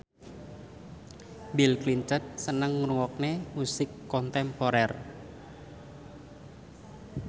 Bill Clinton seneng ngrungokne musik kontemporer